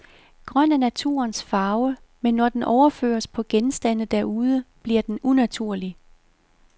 Grøn er naturens farve, men når den overføres på genstande derude, bliver den unaturlig.